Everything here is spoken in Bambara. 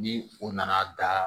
Ni u nana da